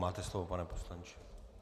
Máte slovo, pane poslanče.